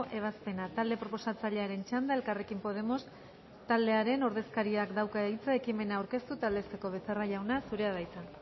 ebazpena talde proposatzailearen txanda elkarrekin podemos taldearen ordezkariak dauka hitza ekimena aurkeztu eta aldezteko becerra jauna zurea da hitza